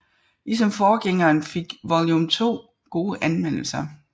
Ligesom forgængeren fik Volume 2 gode anmeldelser